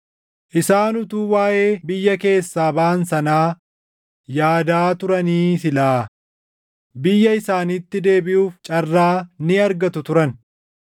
Isaan utuu waaʼee biyya keessaa baʼan sanaa yaadaa turanii silaa, biyya isaaniitti deebiʼuuf carraa ni argatu turan.